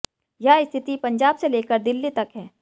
यह स्थिति पंजाब से लेकर दिल्ली तक है